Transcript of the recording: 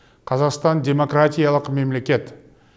қазақстан демократиялық мемлекет